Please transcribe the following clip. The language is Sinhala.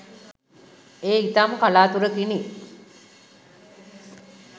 ඒ ඉතාම කලාතුරකිනි.